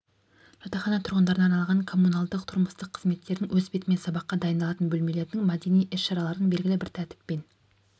жатақхана тұрғындарына арналған коммуналдық-тұрмыстық қызметтердің өз бетімен сабаққа дайындалатын бөлмелердің мәдени іс-шаралардың белгілі бір тәртіппен